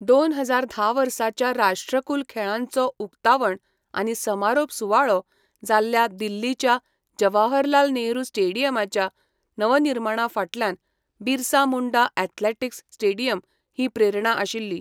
दोन हजार धा वर्साच्या राष्ट्रकुल खेळांचो उक्तावण आनी समारोप सुवाळो जाल्ल्या दिल्लीच्या जवाहरलाल नेहरू स्टेडियमाच्या नवनिर्माणा फाटल्यान बिरसा मुंडा एथलेटिक्स स्टेडियम ही प्रेरणा आशिल्ली.